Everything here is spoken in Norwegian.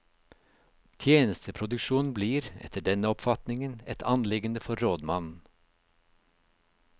Tjenesteproduksjon blir, etter denne oppfatningen, et anliggende for rådmannen.